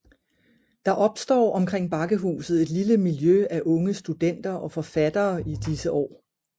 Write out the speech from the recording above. Der opstår omkring Bakkehuset et lille miljø af unge studenter og forfattere i disse år